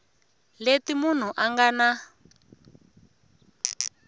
leti munhu a nga na